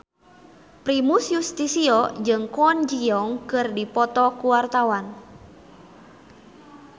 Primus Yustisio jeung Kwon Ji Yong keur dipoto ku wartawan